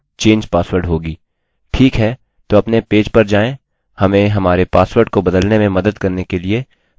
ठीक है तो अपने पेज पर जाएँ हमें हमारे पासवर्ड को बदलने में मदद करने के लिए मैं मेम्बर्स पेज में एक लिंक रखूँगा